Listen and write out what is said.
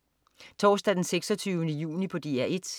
Torsdag den 26. juni - DR 1: